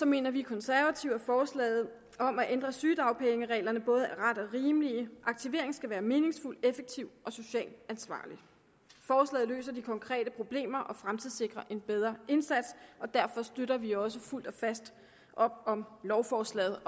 mener vi konservative at forslaget om at ændre sygedagpengereglerne både er ret og rimeligt aktivering skal være meningsfuld effektiv og socialt ansvarlig forslaget løser de konkrete problemer og fremtidssikrer en bedre indsats derfor støtter vi også fuldt og fast op om lovforslaget